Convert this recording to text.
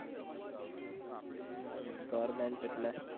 હમ goverment એટલે